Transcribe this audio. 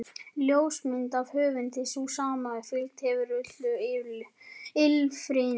Ljósmynd af höfundi, sú sama og fylgt hefur öllu ýlfrinu.